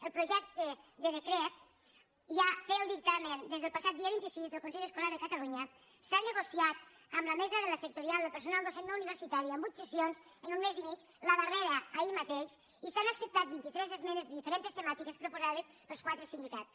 el projecte de decret ja té el dictamen des del passat dia vint sis del consell escolar de catalunya s’ha nego·ciat amb la mesa de la sectorial del personal docent no universitari amb vuit sessions en un mes i mig la darrera ahir mateix i s’han acceptat vint·i·tres es·menes de diferents temàtiques proposades pels quatre sindicats